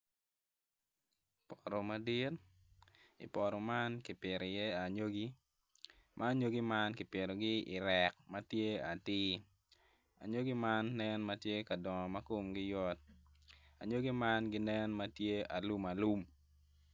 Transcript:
Poto madit i poto man kipito iye anyogi ma anyogi man kipitogi i rek ma tye atir anyogi man nen ma gitye ka dongo ma komgi yot anyogi man ginen ma gitye alum.